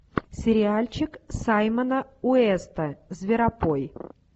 сериальчик саймона уэста зверопой